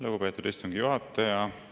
Lugupeetud istungi juhataja!